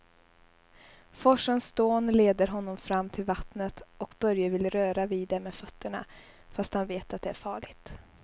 Forsens dån leder honom fram till vattnet och Börje vill röra vid det med fötterna, fast han vet att det är farligt.